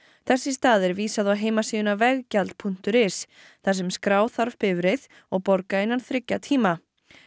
þess í stað er vísað á heimasíðuna veggjald punktur is þar sem skrá þarf bifreið og borga innan þriggja tíma